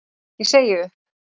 Ég segi upp!